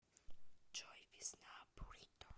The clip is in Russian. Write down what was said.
джой весна бурито